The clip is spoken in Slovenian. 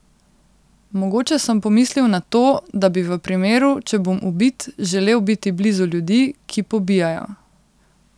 Mogoče sem pomislil na to, da bi v primeru, če bom ubit, želel biti blizu ljudi, ki pobijajo.